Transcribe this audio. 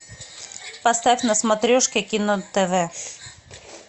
поставь на смотрешке кино тв